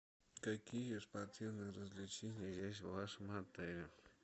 какие спортивные развлечения есть в вашем отеле